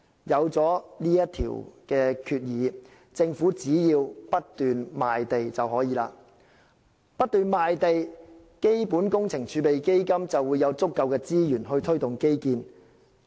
有了上述決議，政府只要不斷賣地便可以。不斷賣地，基本工程儲備基金就會有足夠資源去推動基建。